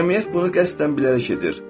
Cəmiyyət bunu qəsdən bilərək edir.